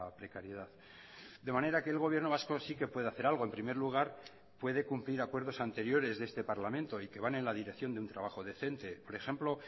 precariedad de manera que el gobierno vasco sí que puede hacer algo en primer lugar puede cumplir acuerdos anteriores de este parlamento y que van en la dirección de un trabajo decente por ejemplo